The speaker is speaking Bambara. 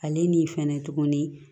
Ale ni fɛnɛ tuguni